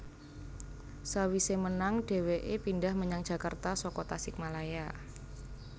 Sawise menang dheweke pindhah menyang Jakarta saka Tasikmalaya